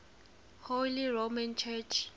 holy roman church